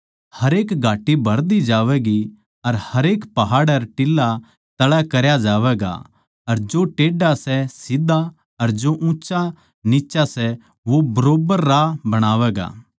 हरेक घाटी भर दी जावैगी अर हरेक पहाड़ अर टिल्ला तळै करया जावैगा अर जो टेढ़ा सै सीध्धा अर जो ऊँच्चा निच्चा सै वो बरोब्बर राह बणैगा